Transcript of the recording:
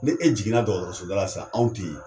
Ne e jiginna dɔgɔtɔrɔsoda la sisan anw te yen